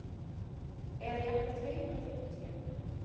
Eða jafnvel tveimur og fimmtíu.